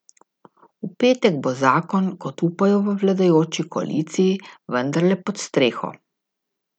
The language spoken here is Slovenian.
V petek bo zakon, kot upajo v vladajoči koaliciji, vendarle pod streho.